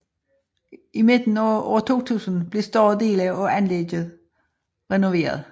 I midten af år 2000 blev større dele af anlægget renoveret